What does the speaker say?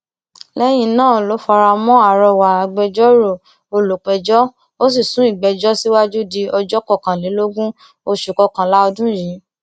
lẹyìn náà ló fara mọ àrọwà agbẹjọrò olùpẹjọ ó sì sún ìgbẹjọ síwájú di ọjọ kọkànlélógún oṣù kọkànlá ọdún yìí